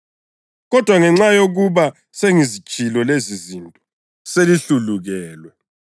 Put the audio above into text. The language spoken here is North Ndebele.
Kodwa ngenxa yokuba sengizitshilo lezizinto, selihlulukelwe.